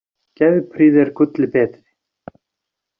Geðprýði er gulli betri.